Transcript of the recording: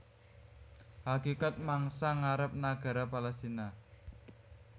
Hakikat mangsa ngarep nagara Palestina